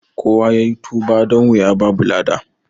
Kowa yayi tuba don wuya ba lada